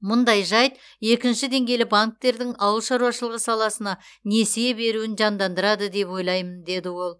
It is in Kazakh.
мұндай жайт екінші деңгейлі банктердің ауыл шаруашылығы саласына несие беруін жандандырады деп ойлаймын деді ол